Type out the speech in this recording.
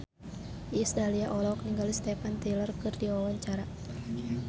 Iis Dahlia olohok ningali Steven Tyler keur diwawancara